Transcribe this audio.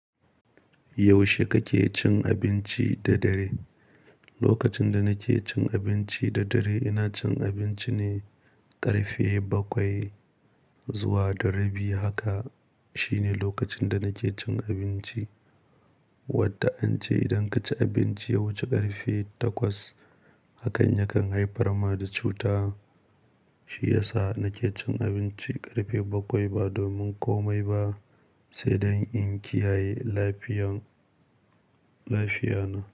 Yaushe kake cin abinci da dare? Lokacin da nake cin abinci da dare ina cin abinci ne ƙarfe bakwai zuwa da rabi. Haka shine lokacin da nake cin abinci, wadda an ce idan kace abinci yawanci ƙarfe takwas, hakan yakan haifar ma da cuta. Shi yasa nake cin abinci ƙarfe bakwai ba domin komai ba, sai dan in kiyaye lafiyan- lafiya na.